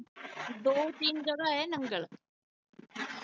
ਦੋ ਤਿੰਨ ਜਗ੍ਹਾ ਏ ਨੰਗਲ